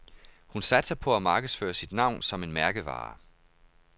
Hun satser på at markedsføre sit navn som en mærkevare.